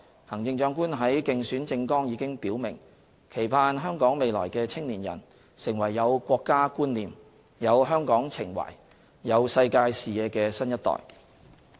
行政長官在競選政綱已表示，期盼香港未來的青年人，成為有國家觀念、有香港情懷、有世界視野的新一代。